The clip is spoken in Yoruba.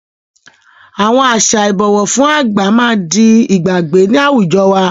Àwọn àṣà Ìbọ̀wọ́ fún àgbà máa di ìgbàgbé ni àwùjọ wá